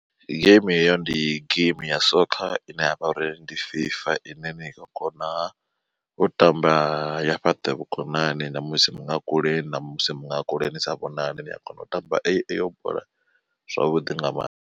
Geimi heyo ndi geimi ya sokha ine yavha uri ndi fifa ine ni nga kona u tamba ya fhaṱa vhukonani ṋamusi muṅwe a kule ṋamusi muṅwe a kule ni sa vhonani ni a kona u tamba eyo bola zwavhuḓi nga maanḓa.